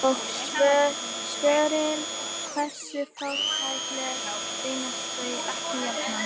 Og svörin hversu fátækleg reynast þau ekki jafnan!